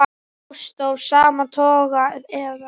Ást af sama toga eða